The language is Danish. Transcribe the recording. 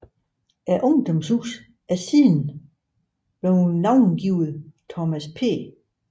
Ungdomshuset er siden navngivet Thomas P